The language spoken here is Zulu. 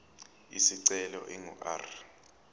isicelo ingu r